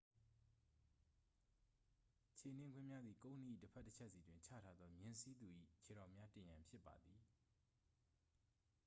ခြေနင်းကွင်းများသည် ကုန်းနှီး၏တစ်ဖက်တစ်ချက်စီတွင် ချထားသော မြင်းစီးသူ၏ခြေထောက်များတင်ရန် ဖြစ်ပါသည်